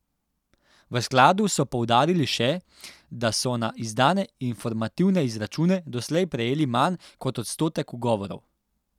V skladu so poudarili še, da so na izdane informativne izračune doslej prejeli manj kot odstotek ugovorov.